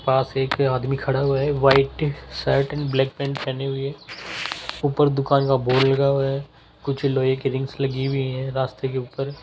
पास एक आदमी खड़ा हुए हैं white shirt and black pant पहने हुए ऊपर दुकान का बोर्ड लगा हुआ है कुछ लोहे की रिंग्स लगी हुईं है रास्ते के ऊपर --